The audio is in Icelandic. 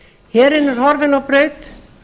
herinn er horfinn á braut